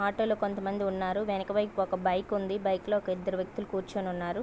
Auto లో కొంత మంది ఉన్నారు వెనక వైపు ఒక బైక్ ఉంది బైక్ లో ఇద్దరు వ్యక్తులు కూర్చొని ఉన్నారు.